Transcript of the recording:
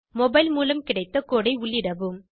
mobile மூலம் கிடைத்த code ஐ உள்ளிடவும்